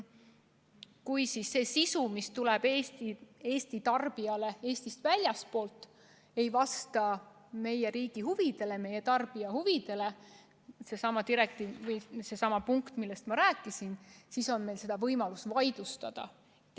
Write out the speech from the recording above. Kui see sisu, mis tuleb Eesti tarbijale Eestist väljastpoolt, ei vasta meie riigi ja meie tarbija huvidele – seesama punkt, millest ma rääkisin –, siis on meil võimalus see vaidlustada.